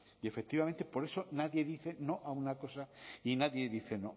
y efectivamente por eso nadie dice no a una cosa y nadie dice no